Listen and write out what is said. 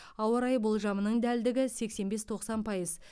ауа райы болжамының дәлдігі сексен бес тоқсан пайыз